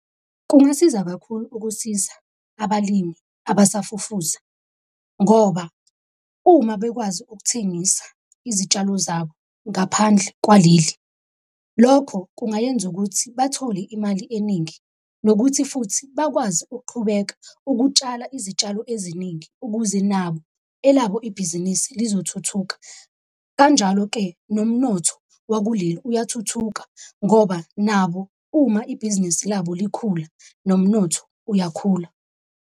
Kungasiza kakhulu ukusiza abalimi abasafufusa, ngoba uma bekwazi ukuthengisa izitshalo zabo ngaphandle kwaleli, lokho kungayenza ukuthi bathole imali eningi, nokuthi futhi bakwazi ukuqhubeka ukutshala izitshalo eziningi ukuze nabo elabo ibhizinisi lizothuthuka. Kanjalo-ke nomnotho wakuleli uyathuthuka ngoba nabo uma ibhizinisi labo likhula nomnotho uyakhula.